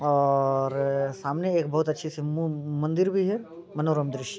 औ-अ-और सामने एक बहुत अच्छी सी मू-मंदिर भी हैं मनोरम दृश्य --